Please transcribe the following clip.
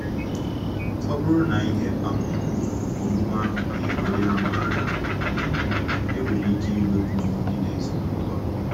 Ọ bụrụ na ihe um omume ahụ gụnyere onye a maara, um e nwere ike inwekwu nrụgide ezinụlọ.